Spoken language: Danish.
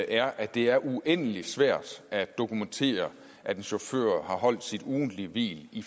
er at det er uendelig svært at dokumentere at en chauffør har holdt sit ugentlige hvil i